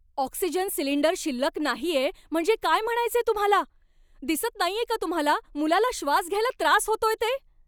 Oxygen cylinder शिल्लक नाहीये म्हणजे काय म्हणायचंय तुम्हाला? दिसत नाहीये का तुम्हाला मुलाला श्वास घ्यायला त्रास होतोय ते?